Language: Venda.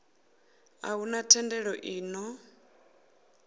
a huna thendelo i ṱo